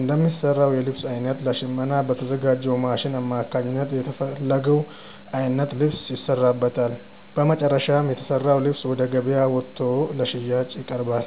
እንደሚሰራው የልብስ አይነት ለሽመና በተዘጋጅው ማሽን አማካኝነት የተፈለገው አይነት ልብስ ይሰራበታል። በመጨረሻም የተሰራው ልብስ ወደ ገበያ ወጥቶ ለሽያጭ ይቀርባል።